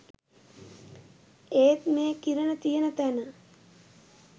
ඒත් මේ කිරණ තියෙන තැන